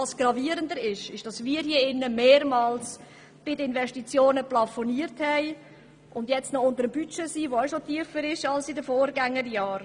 Gravierender ist jedoch, dass wir hier im Rat mehrmals bei den Investitionen plafoniert haben und trotzdem noch das Budget unterschreiten, welches ohnehin tiefer liegt als in den Vorgängerjahren.